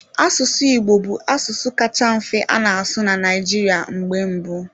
Asụsụ Igbo bụ asụsụ kacha mfe a na-asụ na Naịjirịa mgbe mbụ